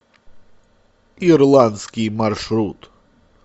ирландский маршрут